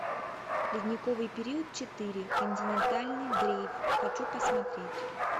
ледниковый период четыре континентальный дрейф хочу посмотреть